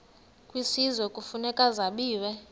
kwisizwe kufuneka zabiwe